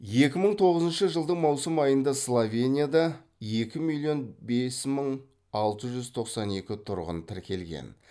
екі мың тоғызыншы жылдың маусым айында словенияда екі миллион бес мың алты жүз тоқсан екі тұрғын тіркелген